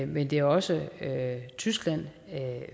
men det er også tyskland og